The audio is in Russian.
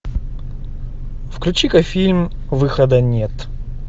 включи ка фильм выхода нет